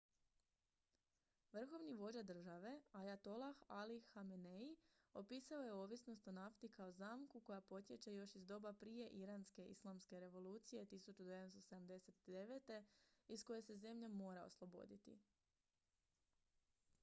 "vrhovni vođa države ajatolah ali hamenei opisao je ovisnost o nafti kao "zamku" koja potječe još iz doba prije iranske islamske revolucije 1979. iz koje se zemlja mora osloboditi.